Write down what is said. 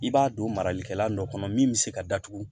I b'a don maralikɛla dɔ kɔnɔ min be se ka datugu